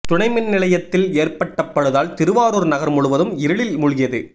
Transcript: துணை மின் நிலையத்தில் ஏற்பட்ட பழுதால் திருவாரூர் நகர் முழுவதும் இருளில் மூழ்கியது